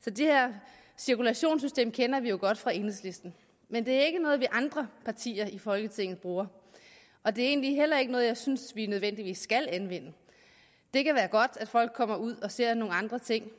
så det her cirkulationssystem kender vi jo godt fra enhedslisten men det er ikke noget vi andre partier i folketinget bruger og det er egentlig heller ikke noget jeg synes at vi nødvendigvis skal anvende det kan være godt at folk kommer ud og ser nogle andre ting